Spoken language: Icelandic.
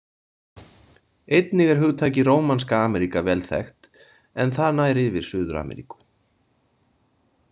Einnig er hugtakið Rómanska Ameríka vel þekkt en það nær yfir Suður-Ameríku.